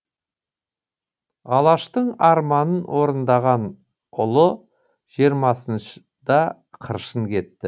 алаштың арманын орындаған ұлы жиырмасында қыршын кетті